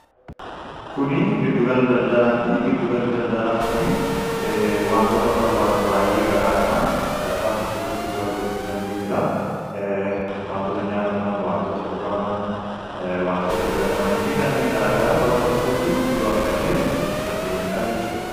Kuni giddugala daldalaati giddugalli daldalaa kuni wantoota barbaannu baay'ee garaagaraa bakka tokkotti iddoo argachuu dandeenyuudha. Wantoota nyaatamaan, waantoota dhugamaan, wantoota dhibbatamanii fi kanneen garaa garaa bakka tokkotti iddoo argannee bitachuu dandeenyuudha jechuudha.